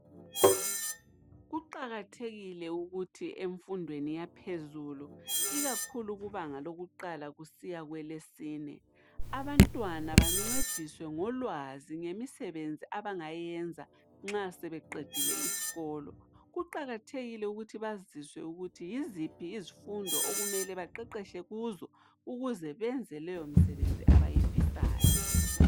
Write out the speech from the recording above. Kuqakathekile ukuthi emfundweni yaphezulu ikakhulu kubanga lokuqala kusiya kwelesine, abantwana bancediswe ngolwazi ngemisebenzi abangayenza nxa sebeqedile isikolo. Kuqakathekile ukuthi baziswe ukuthi yiziphi izifundo okumele baqeqetshe kuzo ukuze benze leyomsebenzi abayifisayo.